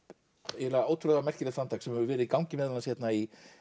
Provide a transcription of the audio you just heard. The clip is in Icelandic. eiginlega ótrúlega merkilegt framtak sem hefur verið í gangi meðal annars hérna í